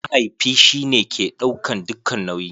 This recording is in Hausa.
Mahaifi shi ne ke ɗaukan dukka nauyi.